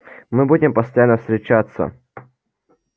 мы будем постоянно встречаться